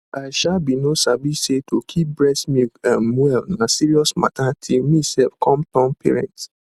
i um bin no sabi say to keep breast milk ehm well na serious mata till me sef come turn parent